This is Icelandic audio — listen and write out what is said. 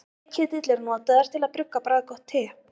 Teketill er notaður til að brugga bragðgott te.